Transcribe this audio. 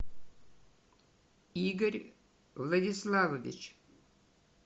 игорь владиславович